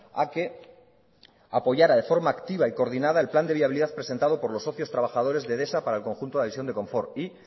a que apoyara de forma activa y coordinada el plan de viabilidad presentado por los socios y trabajadores de edesa para el conjunto de la división de confort y